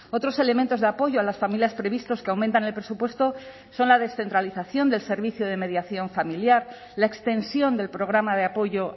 otros elementos de apoyo a las familias previstos que aumentan el presupuesto son la descentralización del servicio de mediación familiar la extensión del programa de apoyo